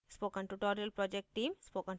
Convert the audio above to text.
spoken tutorial project team